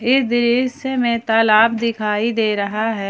इस दृश्य में तालाब दिखाई दे रहा है।